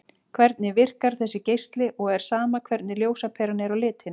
Hvernig virkar þessi geisli og er sama hvernig ljósaperan er á litinn?